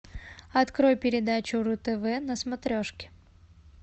открой передачу ру тв на смотрешке